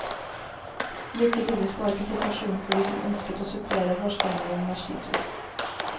Like idyllisk var ikke situasjonen for de som ønsket å supplere vårstemningen med skitur.